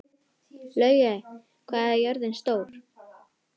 Laugey, hvað er jörðin stór?